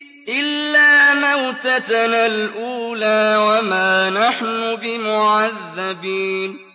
إِلَّا مَوْتَتَنَا الْأُولَىٰ وَمَا نَحْنُ بِمُعَذَّبِينَ